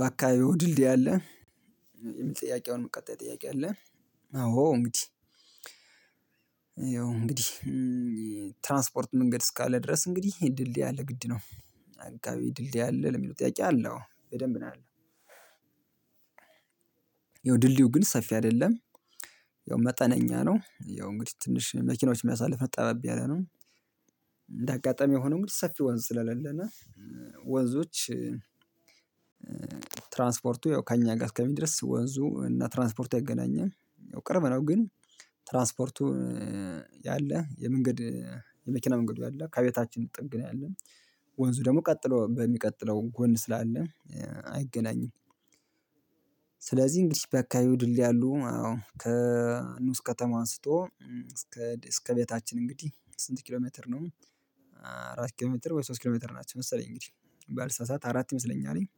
በአካባቢው ድልድይ አለ የሚል ጥያቄ አሁንም ቀጣይ ጥያቄ አለ? አዎ እንግዲህ ያው እንግዲህ ትራንስፖርት መንገድ እስካለ ድረስ እንግዲህ ድልድይ አለ ግድ ነው። አካባቢ ድልድይ አለ ለሚሉ ጠያቂ አለው በደንብ ነው ያለው። ያው ድልድዩ ግን ሰፊ አይደለም። ያው መጠነኛ ነው ያው እንግዲህ ትንሽ መኪኖች የሚያሳልፍ እና ጠባብ ያለ ነው ያለነው። እንደ አጋጣሚ የሆነው ሰፊ ወንዝ ስለሌለነ። ወንዞች ትራንስፖርቱ ከእኛ ጋር እስከሚድረስ ወንዙ እና ትራንስፖርት አይገናኝም። ያው ቅርብ ነው ግን። ትራንስፖርቱ ያለ የመንገድ የመኪና መንገዱ ያለ ከቤታችን ጥግ ነው ያለን። ወንዙ ደግሞ ቀጥሎ በሚቀጥለው ጎን ስላለ አይገናኝም። ስለዚህ እንግዲህ በአካባቢዎ ድልድይ አሉ አዎ ከንሑስ ከተማ አንስቶ እስከ እስከ ቤታችን እንግዲህ ስንት ኪሎ ሜትር ነው? አራት ኪሎ ሜትር ወይ ሶስት ኪሎ ሜትር ናቸው መሰለኝ እንግዲህ ባልሳሳት አራት ይመስለኛልኝ።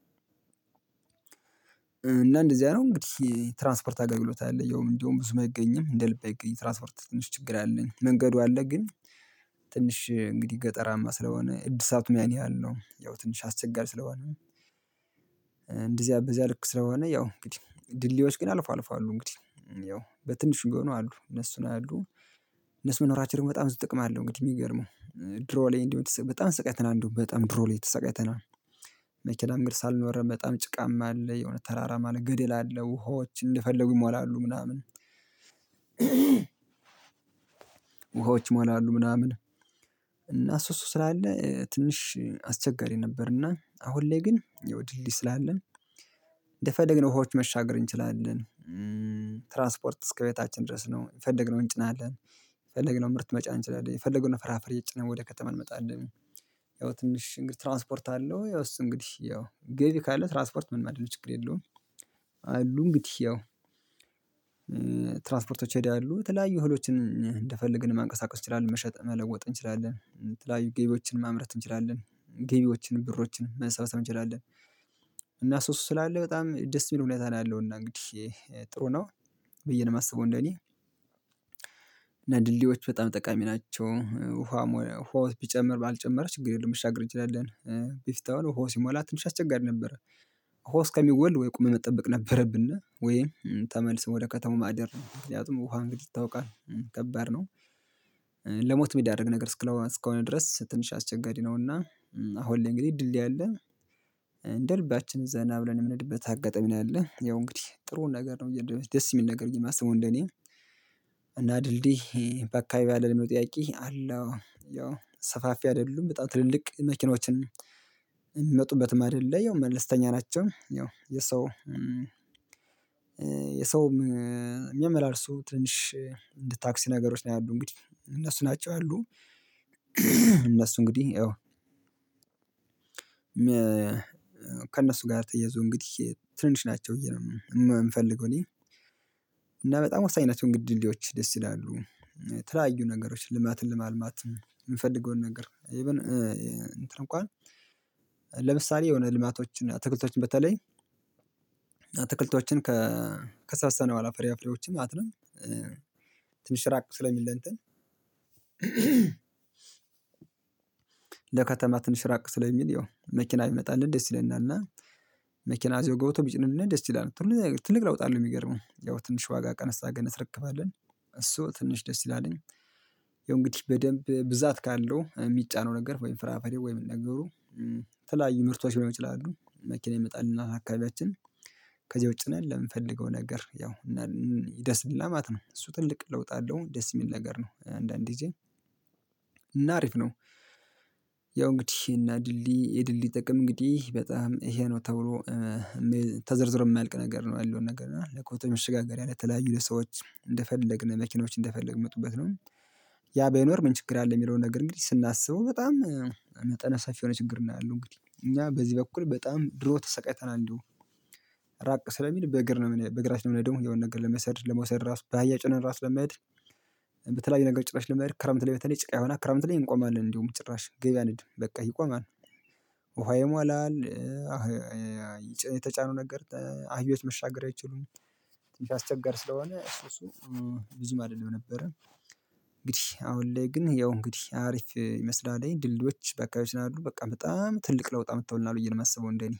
እና እንደዚህ አይነት እንግዲህ ትራንስፖርት አገልግሎት አለ ያውም እንደውም ብዙም አይገኝም እንደ ልብ አይገኝም። የትራንስፖርት ትንሽ ችግር አለኝ መንገዱ አለ ግን። ትንሽ እንግዲህ ገጠራማ ስለሆነ እድሳቱም ያን ያህል ነው ያው ትንሽ አስቸጋሪ ስለሆነ። እንደዚህ አበዚያ ልክ ስለሆነ ያው እንግዲህ ድልድዮች ግን አልፎ አልፎ እንግዲህ ያው በትንሽ ቢሆኑ አሉ እነሱ ላይ አሉ። እነሱ መኖራችን በጣም ብዙ ጥቅም አለው። እንግዲህ የሚገርመው ድሮ ላይ እንዲሁ በጣም ተሰቃይተና እንዲቴደው በጣም ድሮ ላይ ተሰቀተና ተሰቀተናል። መኪናም ግን ምንገድ ስላልኖረ በጣም ጭቃማ አለ የሆነ ተራራ ማለት ግድል አለ ውሃዎች እንደፈለጉ ይሟላሉ ምናምን። ውሃዎች መሆን አሉ ምናምን። እና እሱ እሱ ስላለ ትንሽ አስቸጋሪ ነበርና አሁን ላይ ግን ያው ድልድይ ስላለን። እንደፈደግ ነው ውሃዎች መሻገር እንችላለን። ትራንስፖርት እስከ ቤታችን ድረስ ነው የየፈለግነውን እንጭናለን የፈለግነው ምርት መጫን እንችላለን የፈለገውን ፍራፍሬ ጭነን ወደ ከተማ እንመጣለን። ያው ትንሽ እንግዲህ ትራንስፖርት አለው ያው እሱ እንግዲህ ያው ገቢ ካለ ትራንስፖርት ምን ማድረግ ችግር የለውም። አሉ እንግዲህ ያው ትራንስፖርቶች ሄደው ያሉ የተለያዩ እህሎችን እንደፈለግን ማንቀሳቀስ እንችላለን መሸጥ መለወጥ እንችላለን የተለያዩ ገቢዎችን ማምረት እንችላለን። ግቢዎችን ብሮችን መሰረታዊ ትንችላለን። እና እሱ እሱ ስላለ በጣም ደስ የሚል ሁኔታ ነው ያለው እና እንግዲህ ጥሩ ነው። ብዬ ነው የማስበው እኔ እና ድልድዮች በጣም ጠቃሚ ናቸው ውሃ ቢጨምር ባይጨምር ችግር የለውም የምሻገር እንችላለን። በፊት ያሉ ውሃው ሲሟላ ትንሽ አስቸጋሪ ነበረ። ውሃው እስከሚጎል ወይ ቁመህ መጠበቅ ነበረብነ ወይም ተመልሰን ወደ ከተማው ማደር ምክንያቱም ውሃ እንግዲህ ይታወቃል ከባድ ነው። ለሞት የሚዳርግ ነገር እስከሆነ ድረስ ትንሽ አስቸጋሪ ነውና። አሁን ላይ እንግዲህ ድልድይ አለ። እንደ ልባችን ዘና ብለን የምንሄድበት አጋጣሚ ነው ያለ ያው እንግዲህ ጥሩውን ነገር ነው ደስ የሚል ነገር የማስበው እንደኔ። እና ድልድይ በአካባቢው አለ ለሚለው ጥያቄ አለ? አዎ ያው ሰፋፊ አይደሉም በጣም ትልልቅ መኪኖችን የሚመጡበትም አይደለ ያው መለስተኛ ናቸው። ያው የሰው የሰውም የሚያመላልሱ ትንሽ እንደ ታክሲ ነገሮች ነው ያሉት እንግዲህ እነሱ ናቸው አሉ። እነሱ እንግዲህ ከእነሱ ጋር ተያይዞ እንግዲህ ትንንሽ ናቸው ብዬ ነው የምንፈልገው እኔ። እና በጣም ወሳኝናቸው መንገድ ድልድዮች ደስ ይላሉ። ተለያዩ ነገሮች ልማትን ለማልማትም የምንፈልገውን ነገር ኢቭን እንኳን ለምሳሌ የሆነ ልማቶችን አትክልቶችን በተለይ አትክልቶችን ከሰበሰብን በኋላ ፍራፍሬዎችን ማለት ነው። ትንሽ እራቅ ስለሚል ለእንትን ለከተማ ትንሽ ራቅ ስለሚል ያው መኪና ቢመጣልን ደስ ይለናል። መኪና እዚያው ገብቶ ቢጭንልን ደስ ይለናል ትልቅ ለውጥ አለው የሚገርመው ያው ትንሽ ዋጋ ቀነሳ አርገን እናስረክባለን። እሱ ትንሽ ደስ ይላልኝ። የእንግዲህ በደንብ ብዛት ካለው የሚጫነው ነገር ወይም ፍራፈሬ ወይም ነገሩ የተለያዩ የምርቷች ሊሆኑ ይችላሉ መኪና ይመጣልናል አካባቢያችን። ከዚህ ጭነን ለምንፈልገው ነገር ያው እና ይደርስልናል ማለት ነው። እሱ ትልቅ ለውጥ አለው ደስ የሚል ነገር ነው። አንዳንድ ጊዤ እና አሪፍ ነው። ያው እንግዲህ እና ድልድይ የድልድይ ጥቅም እንግዲህ በጣም ይሄ ነው ተብሎ። ተዘርዝሮ የማያልቅ ነገር ነው ያለው ነገር እና ለከብት መሽጋገሪያ ለተለያዩ ለሰዎች እንደፈለግን መኪኖች እንደፈለግን መጡበት ነው። ያ በይኖር ምን ችግር አለ? የሚለውን ነገር እንግዲህ ስናስበው በጣም መጠን ሰፊ የሆነ ችግር ነው ያለሁ እንግዲህ እኛ በዚህ በኩል በጣም ድሮ ተሰቃይተናል። እንደውም እራቅ ስለሚል በእግር ነው በእግራችን ደግሞ የሆነ ነገር ለመውሰድ ለመውሰድ ራሱ በአህያ ጭነን ራስ ለማሄድ። በተለያዩ ነገር ጭራሽ ለመሄድ ክረምት በተለይ ጭቃ ይሆናል ክረምት ላይ እንቆማለን እንደውም ጭራሽ ገበያ አንሄድም በቃ ይቆማል። ውሃ ይሟላል። የተጫኑ ነገር አህዮች መሻገር አይችሉም። ትንሽ አስቸጋሪ ስለሆነ እሱ እሱ ብዙም አይደለም ነበረ። እንግዲህ አሁን ላይ ግን ያው እንግዲህ አሪፍ ይመስላል። ድልድዮች በአካባቢው ስላሉ በቃ በጣም ትልቅ ለውጥ አምጥተውልናል ብዬ ነው ማስበው። እንደ እኔ